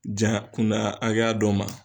Jan kunna akɛya dɔ ma.